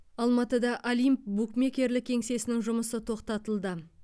алматыда олимп букмекерлік кеңсесінің жұмысы тоқтатылды